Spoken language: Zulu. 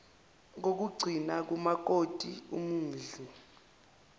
kokugcina kumtoti umudli